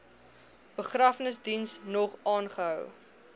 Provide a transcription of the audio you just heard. begrafnisdiens nog aangehou